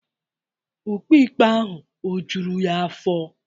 Ukpe ikpe ahụ ọ̀ juru ya afọ?